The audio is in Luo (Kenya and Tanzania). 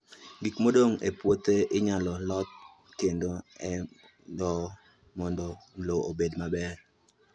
Gik modong' e puothe inyalo loth kendo e lowo mondo lowo obed maber.